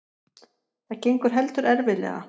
Það gengur heldur erfiðlega.